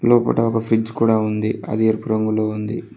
లోపట ఒక ఫ్రిజ్ కూడా ఉంది అది ఎరుపు రంగులో ఉంది